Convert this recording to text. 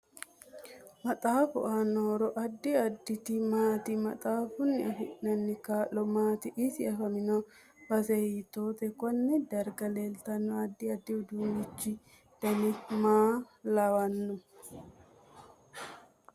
Maxaafu aano horo addi additi maati maxaafuni afinananni kaa'lo maati isi afamanno base hiitoote konne darga leeltano addi addi uduunichu dani maa lawanno